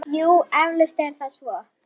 Jú, eflaust er það svo.